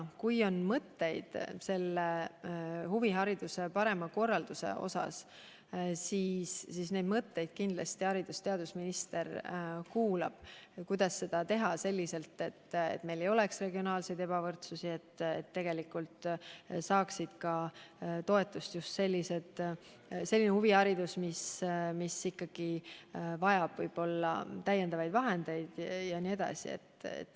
Kui kellelgi on mõtteid huvihariduse parema korraldamise kohta, siis haridus- ja teadusminister kindlasti kuulab neid, kuidas teha nii, et meil ei oleks regionaalset ebavõrdsust ja et toetust saaks just selline huviharidus, mis võib-olla vajab täiendavaid vahendeid.